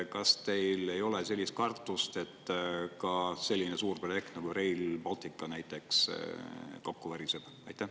Kas teil ei ole kartust, et ka selline suur projekt nagu Rail Baltic näiteks kokku variseb?